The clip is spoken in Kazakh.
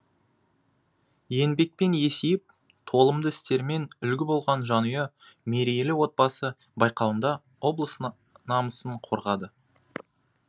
еңбекпен есейіп толымды істерімен үлгі болған жанұя мерейлі отбасы байқауында облыс намысын қорғады